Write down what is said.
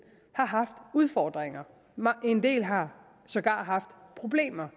har haft udfordringer en del har sågar haft problemer